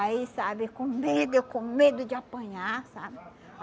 Aí, sabe, com medo, eu com medo de apanhar, sabe?